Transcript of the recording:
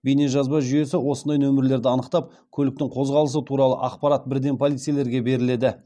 бейнежазба жүйесі осындай нөмірлерді анықтап көліктің қозғалысы туралы ақпарат бірден полицейлерге беріледі